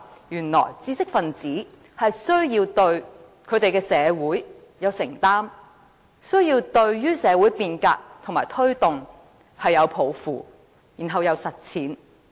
原來知識分子是需要對他們的社會有承擔，需要對社會變革和推動有抱負，繼而實踐。